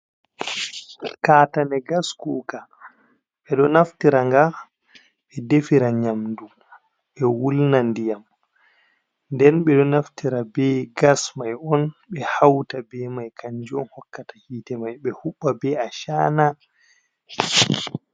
Kaatane gas kuuka, ɓe ɗo naftira nga ɓe defira nyamdu, ɓe wulna ndiyam, nden ɓe ɗo naftira be gas mai on ɓe hauta be mai kanjum hokkata hiite mai ɓe huɓɓa be acaana.